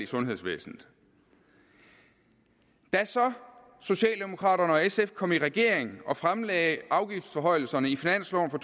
sundhedsvæsenet da så socialdemokraterne og sf kom i regering og fremlagde afgiftsforhøjelserne i finansloven for